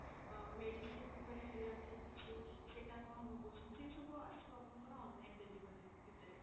ଅ medicine ଉପରେ ହେଲା କି କିଛି ସେଟା ଆପଣ ମଗଉଛନ୍ତି ଏସବୁ ଆସିବ ଆପଣଙ୍କ ର online delivery ଭିତରେ।